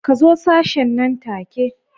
Ka zo sashen nan take.